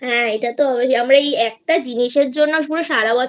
হ্যাঁ আমরা একটা জিনিসের জন্য সারা বছর